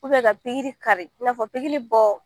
ka pikiri kari , i na fɔ pikiri bɔ